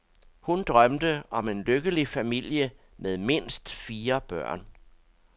Hun drømte om en lykkelig familie med mindst fire børn.